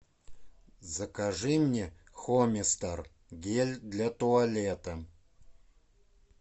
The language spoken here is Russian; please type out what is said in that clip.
закажи мне хомистер гель для туалета